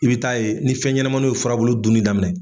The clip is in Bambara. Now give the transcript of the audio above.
I bɛ taa yen ni fɛn ɲɛnɛmaninw ye furabulu dunin daminɛ.